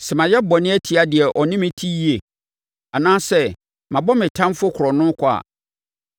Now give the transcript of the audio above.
sɛ mayɛ bɔne atia deɛ ɔne me te yie anaasɛ mabɔ me ɔtamfoɔ korɔno kwa a,